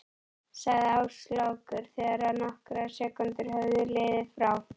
sagði Áslákur þegar nokkrar sekúndur höfðu liðið frá því